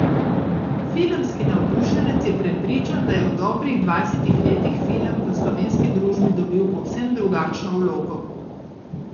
Filmski navdušenec je prepričan, da je v dobrih dvajsetih letih film v slovenski družbi dobil povsem drugačno vlogo.